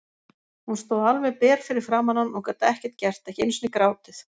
Hún stóð alveg ber fyrir framan hann og gat ekkert gert, ekki einu sinni grátið.